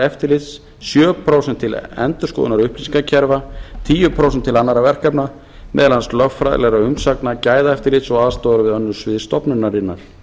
eftirlits sjö prósent til endurskoðunar upplýsingakerfa tíu prósent til annarra verkefna meðal annars lögfræðilegra umsagna gæðaeftirlits og aðstoðar við önnur svið stofnunarinnar